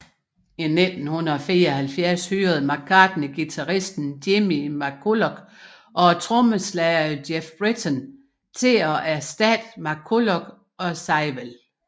I 1974 hyrede McCartney guitaristen Jimmy McCulloch og trommeslageren Geoff Britton til at erstatte McCullough og Seiwell